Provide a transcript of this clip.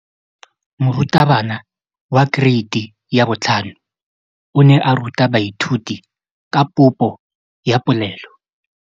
Moratabana wa kereiti ya 5 o ne a ruta baithuti ka popô ya polelô.